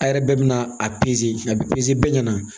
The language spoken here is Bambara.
A yɛrɛ bɛɛ bɛ na a a bɛ bɛɛ ɲɛna